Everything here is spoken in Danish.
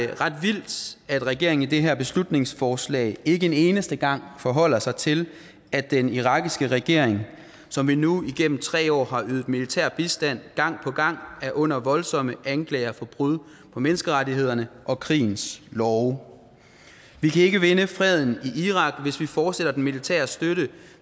regeringen i det her beslutningsforslag ikke en eneste gang forholder sig til at den irakiske regering som vi nu igennem tre år har ydet militær bistand gang på gang er under voldsomme anklager for brud på menneskerettighederne og krigens love vi kan ikke vinde freden i irak hvis vi fortsætter den militære støtte